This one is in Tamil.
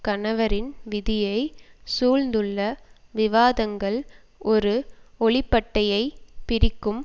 கணவரின் விதியை சூழ்ந்துள்ள விவாதங்கள் ஒரு ஒளிப்பட்டையை பிரிக்கும்